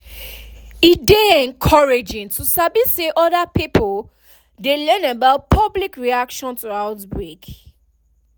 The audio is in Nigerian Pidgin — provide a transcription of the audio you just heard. e dey encouraging to sabi say other pipo too dey learn about public reaction to outbreak